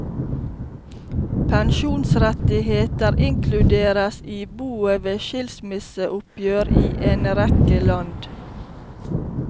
Pensjonsrettigheter inkluderes i boet ved skilsmisseoppgjør i en rekke land.